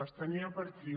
les tenia per aquí